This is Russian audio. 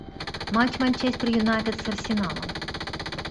матч манчестер юнайтед с арсеналом